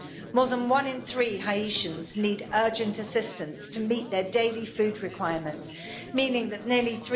More than one in three Haitians need urgent assistance to meet their daily food requirements, meaning that nearly